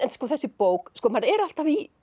þessi bók maður er alltaf í